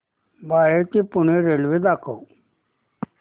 बाळे ते पुणे रेल्वे दाखव